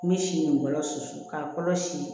N bɛ si nin bɔlɔlɔ susu k'a kɔlɔsi